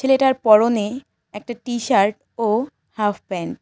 ছেলেটার পরনে একটা টি শার্ট ও হাফ প্যান্ট ।